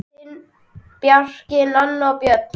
Þín, Bjarki, Nanna og Björn.